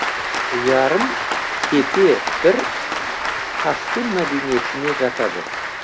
ярым тепе бір хассун мәдениетіне жатады